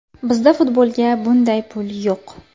Bizda futbolga bunday pul yo‘q.